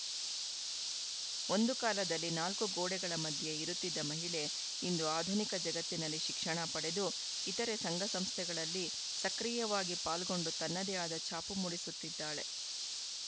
ಒಂದು ಕಾಲದಲ್ಲಿ ನಾಲ್ಕು ಗೋಡೆಗಳ ಮಧ್ಯೆ ಇರುತ್ತಿದ್ದ ಮಹಿಳೆ ಇಂದು ಆಧುನಿಕ ಜಗತ್ತಿನಲ್ಲಿ ಶಿಕ್ಷಣ ಪಡೆದು ಇತರೆ ಸಂಘ ಸಂಸ್ಥೆಗಳಲ್ಲಿ ಸಕ್ರಿಯವಾಗಿ ಪಾಲ್ಗೊಂಡು ತನ್ನದೆ ಆದ ಛಾಪು ಮೂಡಿಸುತ್ತಿದ್ದಾಳೆ